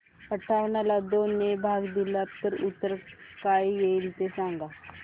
अठावन्न ला दोन ने भाग दिला तर उत्तर काय येईल ते सांगा